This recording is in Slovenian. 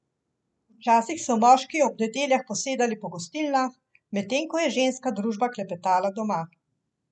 Včasih so moški ob nedeljah posedali po gostilnah, medtem ko je ženska družba klepetala doma.